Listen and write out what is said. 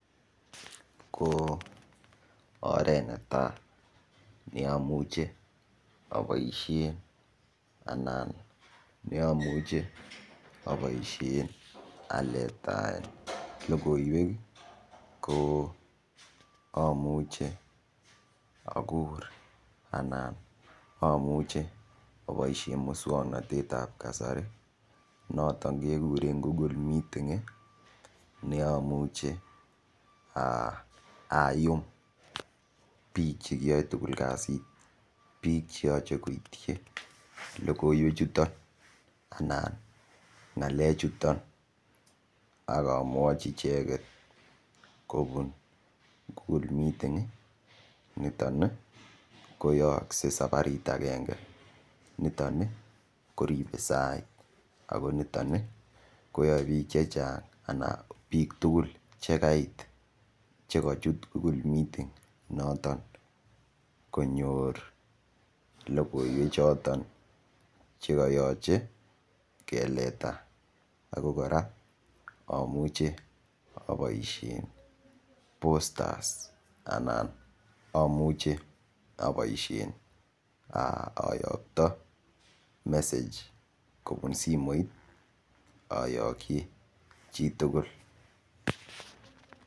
Ko oret netai neamuche aboishe anan neamuchen aboishe aletaen lokoiwek ko amuche akur anan amuche aboishe muswongnotet ap kasari noton kekure google meeting neamuche ayum biik chekiyoei tugul kasit biik cheyoche koitchi lokoiwek chuton anan ng'alek chuton akomwochi icheket kobun google meeting niton koyookset safarit akenge niton kiribe sait akoniton koyoe biik che chang anan biik tugul chekait chekachut google meeting noton konyor lokoiwek choton chekoyochei keleta ako kora amuche aboishen postas anan amuche aboishen ayokto message kobun simoit ayokchi chitugul.